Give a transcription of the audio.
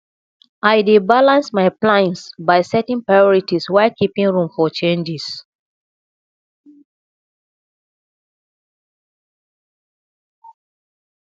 i dey balance my plans by setting priorities while keeping room for changes